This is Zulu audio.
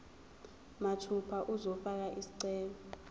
mathupha uzofaka isicelo